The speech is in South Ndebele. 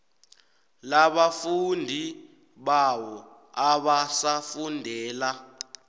labafundi bawo abasafundela